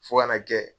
Fo ka na kɛ